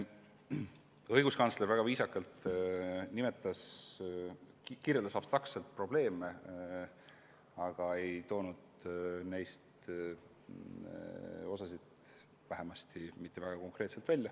Õiguskantsler kirjeldas probleeme väga viisakalt ja abstraktselt ega toonud neid – vähemalt osa mitte – väga konkreetselt välja.